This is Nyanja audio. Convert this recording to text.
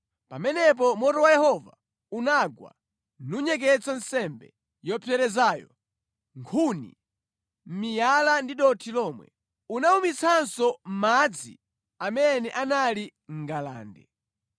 Pamenepo moto wa Yehova unagwa, nunyeketsa nsembe yopserezayo, nkhuni, miyala ndi dothi lomwe. Unawumitsanso madzi amene anali mʼngalande.